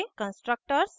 constructors